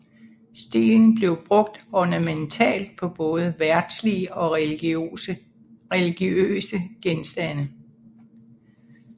Stilen blev brugt ornamentalt på både verdslige og religiøse genstande